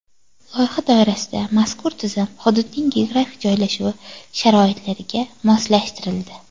Loyiha doirasida mazkur tizim hududning geografik joylashuvi sharoitlariga moslashtirildi.